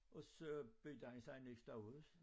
Og så byggede han sig et nyt stuehus